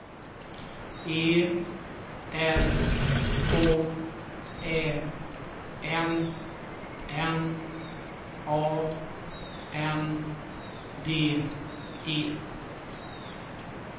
E R K Ä N N A N D E